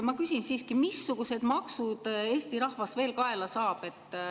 Ma küsin siiski, missugused maksud Eesti rahvas veel kaela saab.